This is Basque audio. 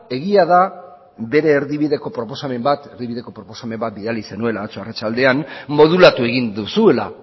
egia da bere erdibideko proposamen bat bidali zenuela atzo arratsaldean modulatu egin duzula